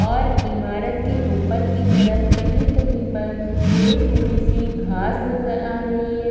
और ईमारत के ऊपर की तरफ़ कही कही पर थोड़ी थोड़ी सी घास नजर आ रही है।